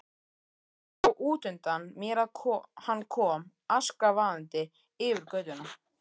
Sá útundan mér að hann kom askvaðandi yfir götuna.